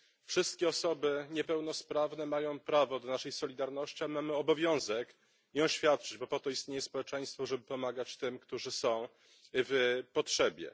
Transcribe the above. Wszystkie osoby niepełnosprawne mają prawo do naszej solidarności, a my mamy obowiązek ją świadczyć, bo po to istnieje społeczeństwo, żeby pomagać tym, którzy są w potrzebie.